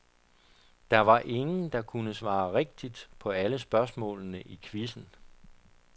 Der var ingen, der kunne svare rigtigt på alle spørgsmålene i quizzen.